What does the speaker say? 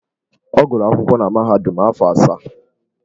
Ọ gụrụ akwụkwọ na mahadum afọ asaa.